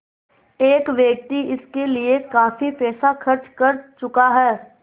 एक व्यक्ति इसके लिए काफ़ी पैसा खर्च कर चुका है